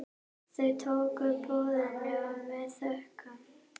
Þau tóku boðinu með þökkum.